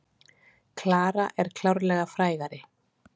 Klara er klárlega frægari.